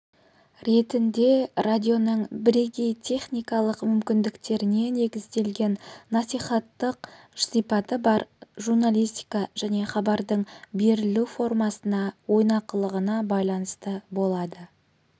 ретінде радионың бірегей техникалық мүмкіндіктеріне негізделген насихаттық сипаты бар журналистика және хабардың берілу формасына ойнақылығына байланысты болады